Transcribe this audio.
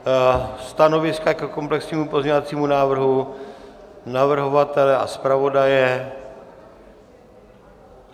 Stanoviska ke komplexnímu pozměňovacímu návrhu navrhovatele a zpravodaje?